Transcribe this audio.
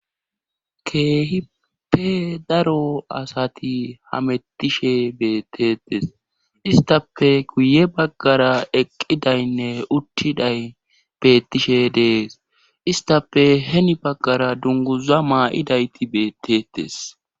keehippe daro asati hamettishe beetetes istape guye baggara eqqidaynne uttiday beettishe dees istappe heni baggara dunguza maa7idayti betettes